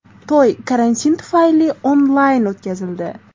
To‘y karantin tufayli onlayn o‘tkazildi.